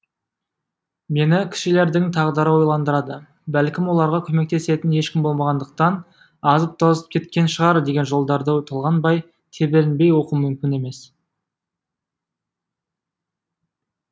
мені кішілердің тағдыры ойландырады бәлкім оларға көмектесетін ешкім болмағандықтан азып тозып кеткен шығар деген жолдарды толғанбай тебіренбей оқу мүмкін емес